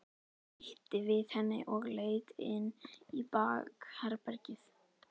Ýtti við henni og leit inn í bakherbergið.